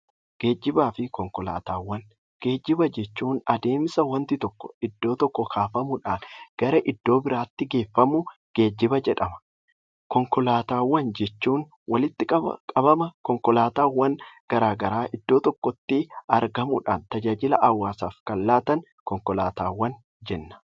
Geejjiba jechuun adeemsa wanti tokko iddoo tokkoo kaafamuudhan gara iddoo biraatti geeffamudha. Konkolaataawwan jechuun walitti qabama konkolaataawwan garagaraa iddoo tokkootti qabanuudhan hawaasa kan tajaajilanidha.